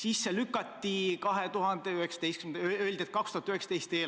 Plaan lükati edasi, öeldi, et 2019. aasta eelarves on see sees.